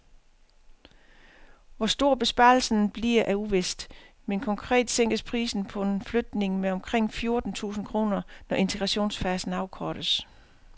Hvor stor besparelsen bliver er uvist, men konkret sænkes prisen på en flygtning med omkring fjorten tusind kroner, når integrationsfasen afkortes.